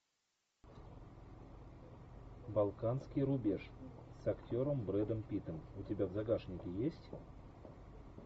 балканский рубеж с актером брэдом питтом у тебя в загашнике есть